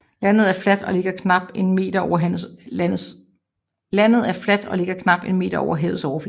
Landet er fladt og ligger knap en meter over havets overflade